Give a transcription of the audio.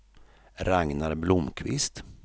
Ragnar Blomkvist